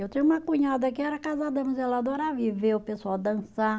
Eu tinha uma cunhada que era casada, mas ela adorava ir ver o pessoal dançar.